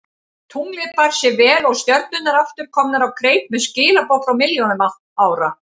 Tunglið bar sig vel og stjörnurnar aftur komnar á kreik með skilaboð frá milljónum ára.